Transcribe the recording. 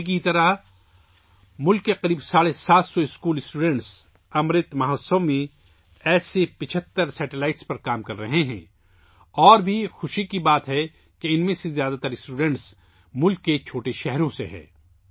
تنوی کی طرح ملک کے تقریباً ساڑھے سات سو اسکولی طلباء امرت مہوتسو میں ایسے 75 سیٹلائٹس پر کام کر رہے ہیں اور یہ بھی خوشی کی بات ہے کہ ان میں سے زیادہ تر طلباء ملک کے چھوٹے شہروں سے ہیں